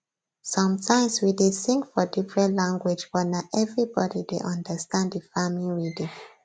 sometimes we dey sing for different language but na everybody dey understand the farming rhythm